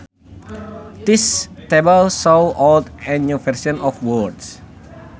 This table shows old and new versions of words